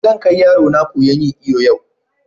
Zan ƙai yarona koya'n yin iyo yau.